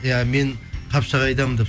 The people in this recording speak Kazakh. иә мен қапшағайдамын деп